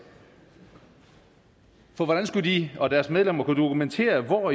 for hvordan skulle de og deres medlemmer kunne dokumentere hvor